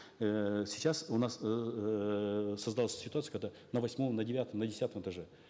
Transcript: эээ сейчас у нас эээ создалась ситуация когда на восьмом на девятом на десятом этаже